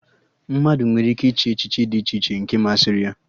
Mmadụ nwere ike ịchị echichi dị iche nke masịrị ya